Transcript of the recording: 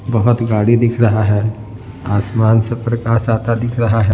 बहुत गाड़ी दिख रहा है आसमान से प्रकाश आता दिख रहा है ।